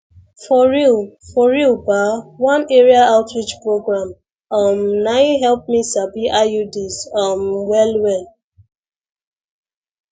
for real for real ba one area outreach program um nai help me sabi iuds um well well